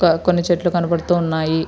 కొన్ని చెట్లు కనబడుతూ ఉన్నాయి.